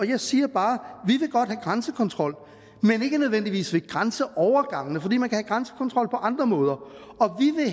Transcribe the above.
jeg siger bare at grænsekontrol men ikke nødvendigvis ved grænseovergangene fordi man kan have grænsekontrol på andre måder